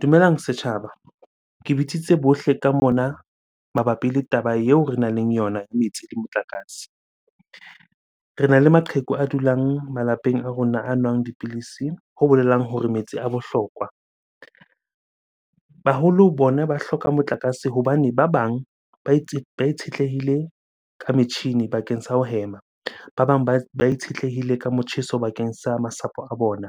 Dumelang setjhaba. Ke bitsitse bohle ka mona mabapi le taba eo renang le yona, metsi le motlakase. Rena le maqheku a dulang malapeng a rona, a nwang dipidisi. Ho bolelang hore metsi a bohlokwa. Baholo bona ba hloka motlakase hobane ba bang ba itshetlehile ka metjhini bakeng sa ho hema, ba bang ba itshetlehile ka motjheso bakeng sa masapo a bona.